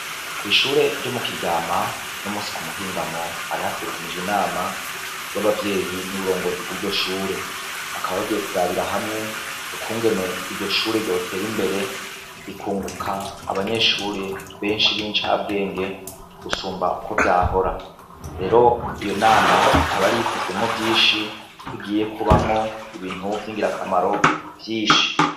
Kw'ishure ryo mu Kiryama uno musi ku muhingamo hari hategekanijwe inama y'abavyeyi n'uburongozi bw'iryo shure, bakaba bagiye kurabira hamwe ukungene iryo shure ryotera imbere rikunguka abanyeshure benshi b'incabwenge gusumba uko vyahora, rero iyo nama ikaba yari yitezwemwo vyinshi, ko igiye kubamwo ibintu vyingirakamaro vyinshi.